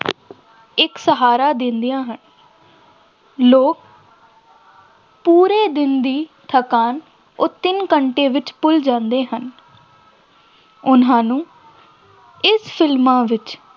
ਇੱਕ ਸਹਾਰਾ ਦਿੰਦੀਆਂ ਹਨ ਲੋਕ ਪੂਰੇ ਦਿਨ ਦੀ ਥਕਾਨ ਉਹ ਤਿੰਨ ਘੰਟੇ ਵਿੱਚ ਭੁੇੱਲ ਜਾਂਦੇ ਹਨ ਉਹਨਾ ਨੂੰ ਇਸ ਫਿਲਮਾਂ ਵਿੱਚ